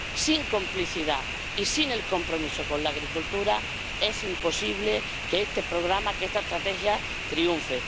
Sin complicidad y sin compromiso con la agricultura es imposible que este programa, que esta estrategia triunfe.